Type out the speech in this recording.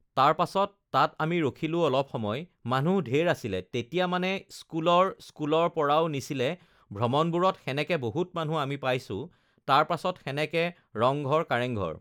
তাৰ পাছত তাত আমি ৰখিলোঁ অলপ সময় মানুহ ধেৰ আছিলে তেতিয়া মানে স্কুলৰ স্কুলৰ পৰাও নিছিলে ভ্ৰমণবোৰত সেনেকে বহুত মানুহ আমি পাইছোঁ তাৰ পাছত সেনেকে ৰংঘৰ, কাৰেংঘৰ